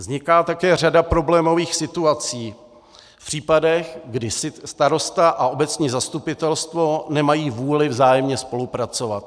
Vzniká také řada problémových situací v případech, kdy starosta a obecní zastupitelstvo nemají vůli vzájemně spolupracovat.